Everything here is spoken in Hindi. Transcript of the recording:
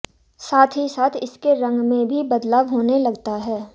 साथ ही साथ इसके रंग में भी बदलाव होने लगता है